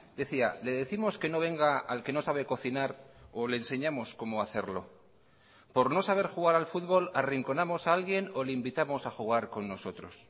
decía le décimos que no venga al que no sabe cocinar o le enseñamos cómo hacerlo por no saber jugar al futbol arrinconamos a alguien o le invitamos a jugar con nosotros